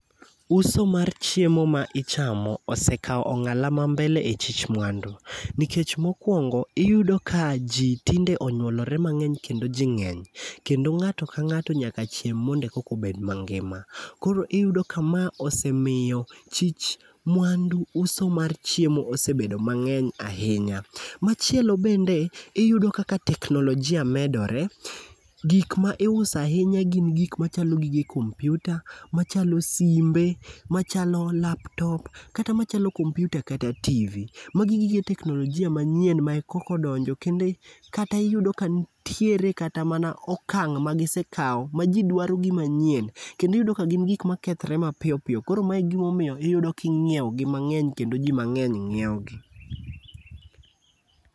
Uso mar chiemo ma ichamo osekawo ong'ala ma mbele e chich mwandu. Nikech mokwongo iyudo ka ji tinde onyuolore mang'eny kendo ji ng'eny kendo ng'ato ka ng'ato nyaka chiem mondo ekokobed mangima. Koro iyudo ka ma osemiyo chich mwandu uso mar chiemo osebedo mang'eny ahinya,. Machielo bende iyudo kaka teknolojia medore, gik ma iuso ahinya gin gik machalo gi gige kompiuta, machalo simbe, machalo laptop kata machalo kompiuta kata TV. Magi gige teknolojia manyien ma koko ondonjo kendo kata iyudo kantiere kata mana okang' magisekawo ma ji dwaro gima nyien kendo iyudo ka gin gik makethre mapiyo piyo koro mae e gimomiyo iyudo king'ieogi mang'eny kendo ji mang'eny ng'ioegi.